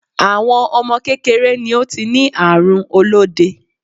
Awon ọmọ kékeré ni ó ti ní àrùn olóde.